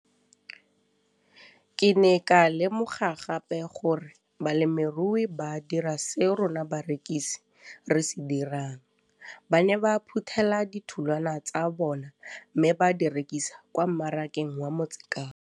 Ke ne ka lemoga gape gore balemirui ba dira seo rona barekisi re se dirang, ba ne ba phuthela ditholwana tsa bona mme ba di rekisa kwa marakeng wa Motsekapa.